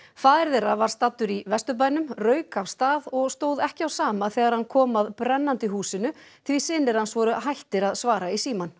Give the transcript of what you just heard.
faðir þeirra var staddur í Vesturbænum rauk af stað og stóð ekki á sama þegar hann kom að brennandi húsinu því synir hans voru hættir að svara í símann